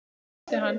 Svo kvaddi hann.